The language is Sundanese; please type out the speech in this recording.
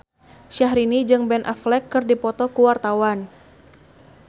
Syahrini jeung Ben Affleck keur dipoto ku wartawan